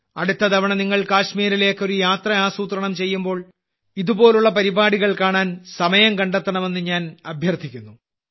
അടുത്ത തവണ നിങ്ങൾ കാശ്മീരിലേക്ക് ഒരു യാത്ര ആസൂത്രണം ചെയ്യുമ്പോൾ ഇതുപോലുള്ള പരിപാടികൾ കാണാൻ സമയം കണ്ടെത്തണമെന്ന് ഞാൻ അഭ്യർത്ഥിക്കുന്നു